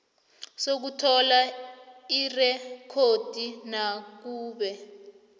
sokuthola irekhodi nakube